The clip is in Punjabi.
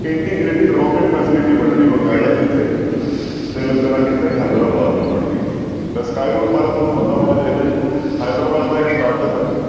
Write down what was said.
Integrated rocket facility ਬਣ ਰਹੀ ਹੈ ਬਕਾਇਦਾ ਕਿੱਥੇ ਤਿਲੰਗਨਾ ਕਿੱਥੇ ਹੈਦਰਾਬਾਦ ਵਿੱਚ ਬਣ ਰਹੀ ਹੈ ਤਾਂ skyroot ਬਾਰੇ ਤੁਹਾਨੂੰ ਪਤਾ ਹੋਣਾ ਚਾਹੀਦਾ ਜੀ ਹੈਦਰਾਬਾਦ ਦਾ ਇੱਕ startup ਹੈ।